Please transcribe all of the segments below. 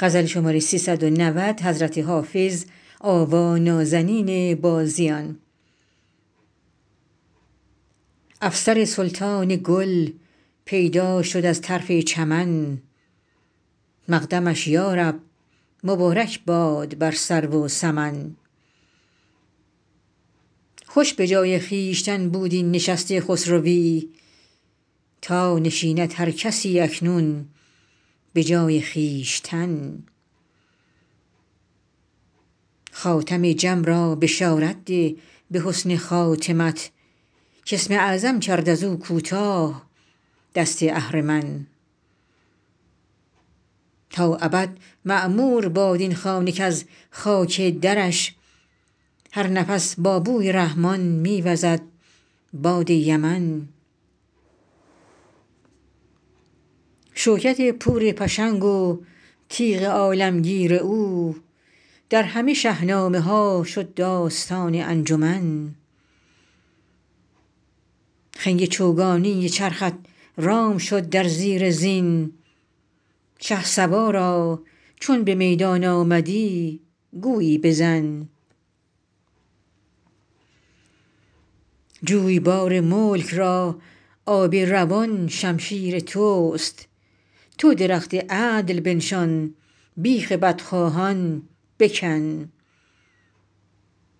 افسر سلطان گل پیدا شد از طرف چمن مقدمش یا رب مبارک باد بر سرو و سمن خوش به جای خویشتن بود این نشست خسروی تا نشیند هر کسی اکنون به جای خویشتن خاتم جم را بشارت ده به حسن خاتمت کاسم اعظم کرد از او کوتاه دست اهرمن تا ابد معمور باد این خانه کز خاک درش هر نفس با بوی رحمان می وزد باد یمن شوکت پور پشنگ و تیغ عالمگیر او در همه شهنامه ها شد داستان انجمن خنگ چوگانی چرخت رام شد در زیر زین شهسوارا چون به میدان آمدی گویی بزن جویبار ملک را آب روان شمشیر توست تو درخت عدل بنشان بیخ بدخواهان بکن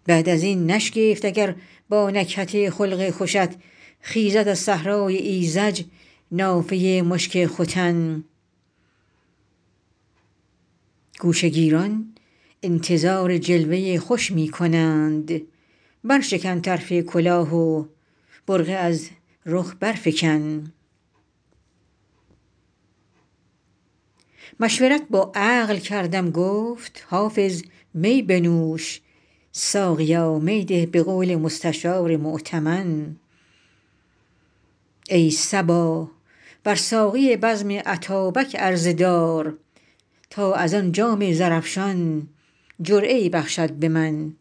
بعد از این نشگفت اگر با نکهت خلق خوشت خیزد از صحرای ایذج نافه مشک ختن گوشه گیران انتظار جلوه خوش می کنند برشکن طرف کلاه و برقع از رخ برفکن مشورت با عقل کردم گفت حافظ می بنوش ساقیا می ده به قول مستشار مؤتمن ای صبا بر ساقی بزم اتابک عرضه دار تا از آن جام زرافشان جرعه ای بخشد به من